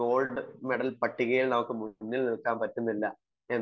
gold medal പട്ടികയിൽ നമുക്ക് മുന്നിൽ നില്ക്കാൻ പറ്റുന്നില്ല എന്ന്